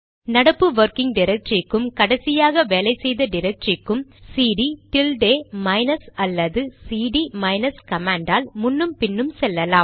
நடப்பு வொர்கிங் டிரக்டரிக்கும் கடைசியாக வேலை செய்த டிரக்டரிக்கும் சிடி டில்டே மைனஸ் அல்லது சிடி மைனஸ் கமாண்ட் ஆல் முன்னும் பின்னும் செல்லலாம்